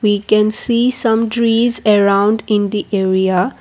we can see some trees around in the area.